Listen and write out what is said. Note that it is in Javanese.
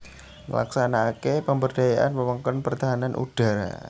Nglaksanakaké pemberdayaan wewengkon pertahanan udhara